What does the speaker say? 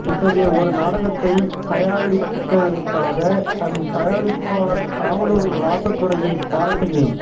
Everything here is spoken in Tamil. இத்தகைய ஒரு நாடகத்தை தயாரித்தளித்தற்காக தன் தயாரிப்பாளர் காவலூர் ராசதுரையைப் பாராட்டுகிறேன்